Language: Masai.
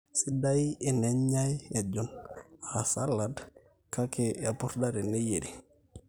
sidai enenyai ejon aa salad kake epurda eneyierri